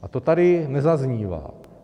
A to tady nezaznívá.